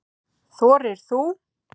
Þorir þú?